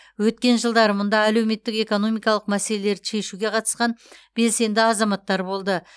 өткен жылдары мұнда әлеуметтік экономикалық мәселелерді шешуге қатысқан белсенді азаматтар болды